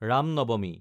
ৰাম নৱমী